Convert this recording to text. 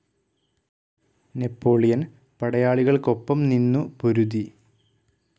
Napoleon പടയാളികൾക്കൊപ്പം നിന്നു പൊരുതി.